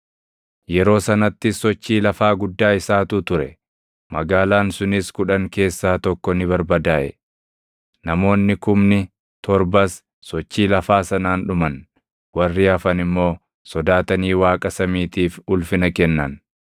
Yeroo sanattis sochii lafaa guddaa isaatu ture; magaalaan sunis kudhan keessaa tokko ni barbadaaʼe. Namoonni kumni torbas sochii lafaa sanaan dhuman; warri hafan immoo sodaatanii Waaqa samiitiif ulfina kennan.